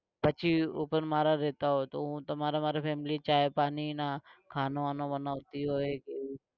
પછી ઉપર મારા રહેતા હોય તો હૂ તમારા માટે family ચા પાણી ને ખાનું વાનું બનાવતી હોય તો